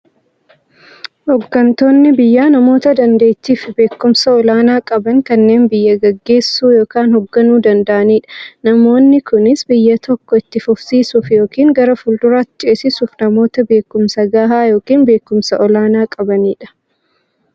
Hooggantoonni biyyaa namoota daanteettiifi beekumsa olaanaa qaban, kanneen biyya gaggeessuu yookiin hoogganuu danda'aniidha. Namoonni kunis, biyya tokko itti fufsiisuuf yookiin gara fuulduraatti ceesisuuf, namoota beekumsa gahaa yookiin beekumsa olaanaa qabaniidha.